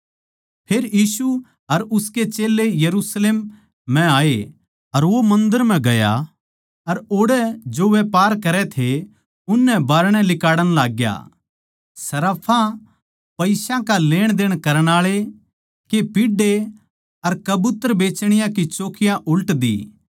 फेर यीशु अर उसके चेल्लें यरुशलेम म्ह आये अर वो मन्दर म्ह गया अर ओड़ै जो व्यापार करै थे उननै बाहरणै लिकाड़ण लाग्या सर्राफां पईसा का लेण देण करण आळे के पीढ़े अर कबूतर बेचणीयाँ की चौकियाँ उल्ट दी